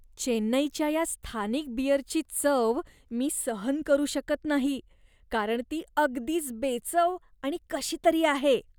चेन्नईच्या या स्थानिक बिअरची चव मी सहन करू शकत नाही, कारण ती अगदीच बेचव आणि कशीतरी आहे.